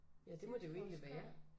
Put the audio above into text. Ja det må det jo egentlig være